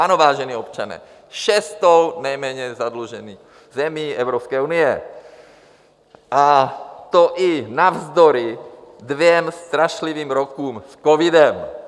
Ano, vážení občané, šestou nejméně zadluženou zemí Evropské unie, a to i navzdory dvěma strašlivým rokům s covidem.